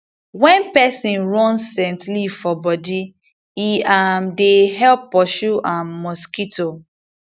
wen peson run scent leaf for bodi e um dey help pursue um mosquito um